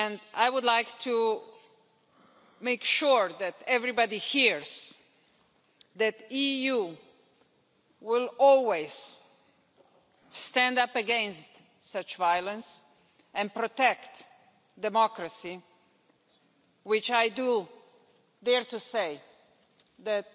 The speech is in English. I would like to make sure that everybody hears that the EU will always stand up against such violence and protect democracy, which I dare to say that